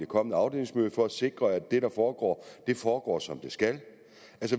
kommende afdelingsmøde for at sikre at det der foregår foregår som det skal